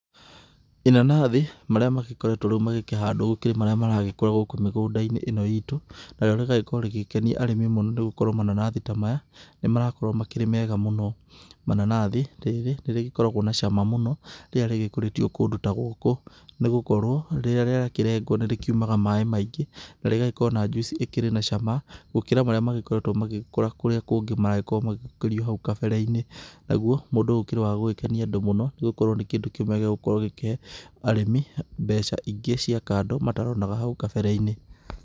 Inanathi, marĩa magĩkoretwo rĩu magĩkĩhandwo, gũkĩrĩ marĩa maragĩkorwo gũkũ mĩgũnda-inĩ ĩno itũ. Narĩo rĩgagĩkorwo rĩgĩkenia arĩmĩ mũno, nĩgũkorwo mananathi ta maya, nĩmarakorwo makĩrĩ mega mũno. Mananathi, rĩrĩ nĩrĩgĩkoragwo na cama mũno rĩrĩa rĩgĩkũrĩtio kũndũ ta gũkũ, nĩgũkorwo rĩrĩa rĩakĩrengwo nĩrĩkiumaga maĩ maingĩ na rĩgagĩkorwo na njuici ĩkĩrĩ na cama, gũkĩra marĩa magĩkoretwo magĩkũra kũrĩa kũngĩ maragĩkorwo magĩkũrio kũu kabere-inĩ. Naguo mũndũ ũyũ ũkĩrĩ wa gũgĩkenia andũ mũno, nĩgũkorwo nĩ kĩndũ kĩmwe gĩa gũkorwo gĩkĩhe arĩmi mbeca ingĩ cia kando mataronaga hau kabere-inĩ.